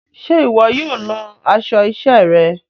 Ṣe iwọ yóò lọ aṣọ iṣẹ rẹ?